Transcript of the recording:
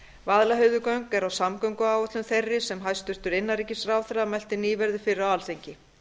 vaðlaheiðargöng eru á samgönguáætlun þeirri sem hæstvirtur innanríkisráðherra mælti nýverið fyrir á alþingi